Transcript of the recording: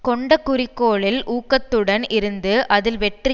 கொண்ட குறிக்கோளில் ஊக்கத்துடன் இருந்து அதில் வெற்றி